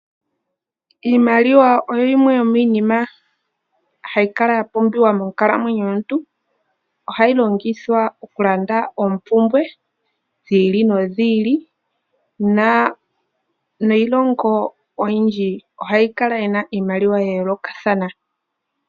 Iimaliwa oyo yimwe yomiinima mbyoka hayi kala ya pumbiwa monkalamwenyo yomuntu. Ohayi longithwa okulanda oompumbwe dhi ili nodhi ili . Iilongo oyindji ohayi kala yi na iimaliwa ya yoolokathana.